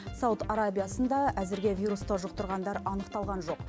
сауд арабиясында әзірге вирусты жұқтырғандар анықталған жоқ